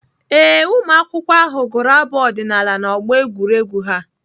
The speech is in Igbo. Ee, ụmụakwụkwọ ahụ gụrụ abụ ọdịnaala n'ọgbọ egwuregwu ha.